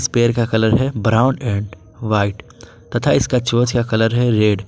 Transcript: पैर का कलर है ब्राउन एंड व्हाइट तथा इसका चोंच का कलर है रेड ।